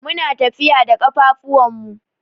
Muna tafiya da kafafun mu.